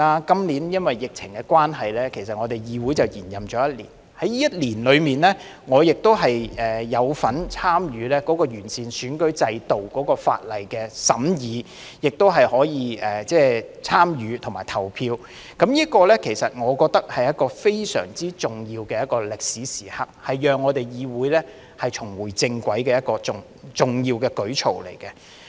今年由於疫情關係，我們議會已延任一年，在這一年中，我亦有份參與完選舉制度法例的審議和投票，我認為這是非常重要的歷史時刻，是讓我們議會重回正軌的重要舉措。